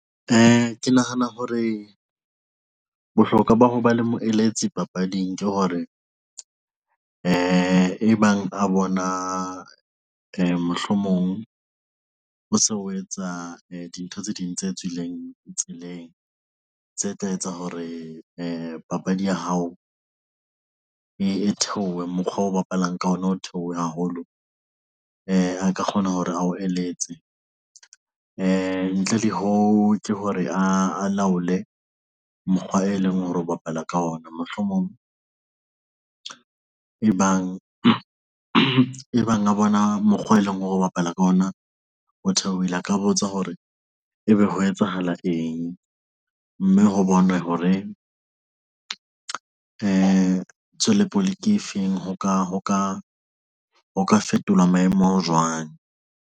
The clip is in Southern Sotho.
Ke nahana hore bohlokwa ba ho ba le moeletsi papading ke hore e bang a bona ho se ho etsa dintho tse ding tse tswileng tseleng tse tla etsa hore papadi ya hao e theohe. Mokgwa o bapalang ka ona ho theohe haholo a ka kgona hore a o eletse e ntle le ho ke hore a laole mokgwa, e leng hore o bapala ka ona mohlomong e bang a bona mokgwa e leng hore o bapala ka ona o theohile a ka botsa hore ebe ho etsahala eng, mme ho bonwe hore tswele pele ke efeng, ho ka fetolwa maemo jwang.